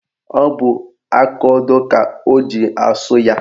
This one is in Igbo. Ọ bụ akaodo ka o ji asụ ya.